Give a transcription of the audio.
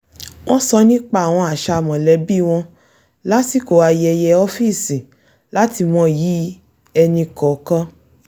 wọ́n sọ nípa àwọn àṣà mọ̀lẹ́bí wọn lásìkò ayẹyẹ ọ́fíìsì láti mọyì ẹnì kọ̀ọ̀kan